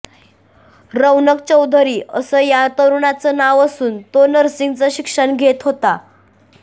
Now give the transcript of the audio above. रौनक चौधरी असं या तरुणाचं नाव असून तो नर्सिंगचं शिक्षण घेत होता